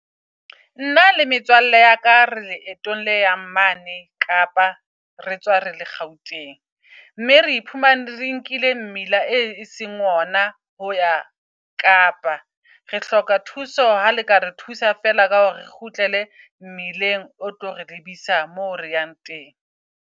Nna le metswalle ya ka re leetong le yang mane Kapa retswa rele Gauteng. Mme re iphumane re nkile mmila e seng ona ho ya Kapa. Re hloka thuso ha le ka re thusa feela ka hore re kgutlele mmileng o tlo re lebisa moo re yang teng.